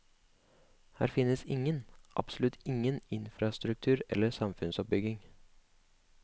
Her finnes ingen, absolutt ingen infrastruktur eller samfunnsoppbygging.